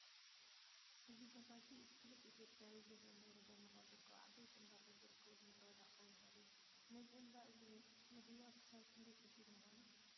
እዚ ቦታ እዚ እቲ ፍሉጥ ኢትዮጵያዊ ገዳም ደብረ ዳሞ ካብ ዝርከቡ ዓበይቲ እምባታት ፣ዝርከበሉ ምድረበዳ ክኸውን ይኽእል እዩ። ነዚ እምባ እዚ ምድያብ ክሳብ ክንደይ ከቢድ ምኾነ?